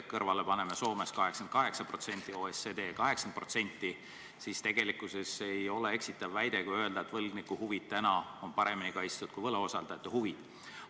Paneme siia kõrvale Soome 88% ja OSCD 80% ning näeme, tegelikkuses ole eksitav väide, kui öeldakse, et võlgniku huvid on paremini kaitstud kui võlausaldajate huvid.